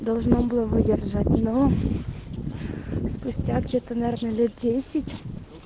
должно было выдержать но спустя где-то наверное лет десять